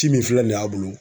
Ci min filɛ nin ye a bolo